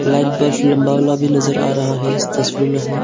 Light box लंबा वाला भी नजर आ रहा है इस तस्वीर में हमें।